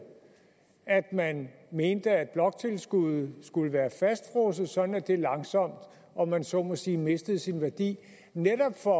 at man mente at bloktilskuddet skulle være fastfrosset sådan at det langsomt om man så må sige mistede sin værdi netop for